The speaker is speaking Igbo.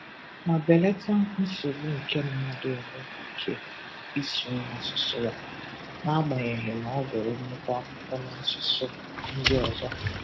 ma belata nsogbu nke mmadụ enweghị ike ịsụnwụ asụsụ ya, n'agbanyeghị na ọ gụrụ nnukwu akwụkwo n'asụsụ ndị ọzọ.